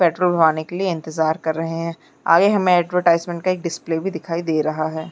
Petrol भराने के लिए इंतजार कर रहें हैं आगे हमे ऐड्वर्टाइज़्मन्ट का डिस्प्ले दिखाई दे रहा है।